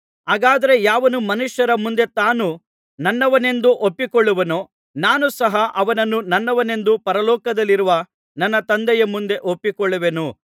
ಹಾಗಾದರೆ ಯಾವನು ಮನುಷ್ಯರ ಮುಂದೆ ತಾನು ನನ್ನವನೆಂದು ಒಪ್ಪಿಕೊಳ್ಳುವನೋ ನಾನು ಸಹ ಅವನನ್ನು ನನ್ನವನೆಂದು ಪರಲೋಕದಲ್ಲಿರುವ ನನ್ನ ತಂದೆಯ ಮುಂದೆ ಒಪ್ಪಿಕೊಳ್ಳುವೆನು